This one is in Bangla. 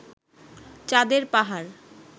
চাঁদের পাহাড়